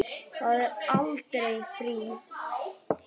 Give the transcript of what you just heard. Það er aldrei frí.